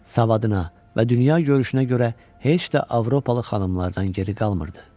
Savadına və dünyagörüşünə görə heç də Avropalı xanımlardan geri qalmırdı.